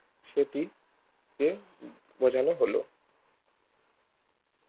সেটি কে বোঝানো হলো